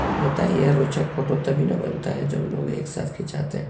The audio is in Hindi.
होता ये है रौचक फोटो तभी ना बनता है जब लोग एक साथ खिंचाते है।